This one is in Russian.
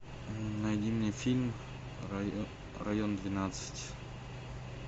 найди мне фильм район двенадцать